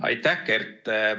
Aitäh, Kert!